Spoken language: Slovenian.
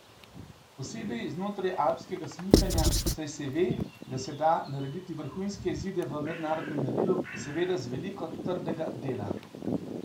Posebej znotraj alpskega smučanja, saj se ve, da se da narediti vrhunske izide v mednarodnem merilu, seveda z veliko trdega dela.